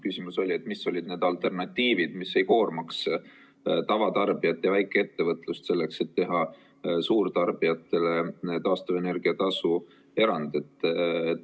Küsimus oli, et mis olid need alternatiivid, mis ei koormaks tavatarbijat ja väikeettevõtlust, selleks et teha suurtarbijatele taastuvenergia tasu erand.